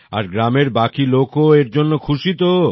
আর গ্রামের বাকি লোকও এর জন্যে খুশি তো